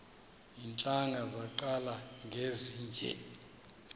iintlanga zaqala ngezinje